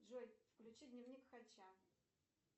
джой включи дневник хача